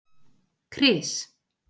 Kris